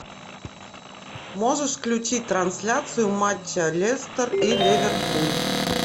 можешь включить трансляцию матча лестер и ливерпуль